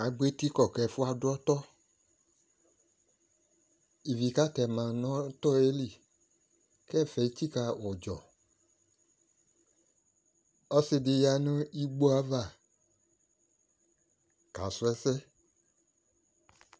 Agbɔ eti kɔ kɛfuɛ ado ɔtɔ Ivi ka tema no ɔtɔɛ li kɛfɛ etsika udzɔƆse de ya no igboo ava kasu ɛsɛ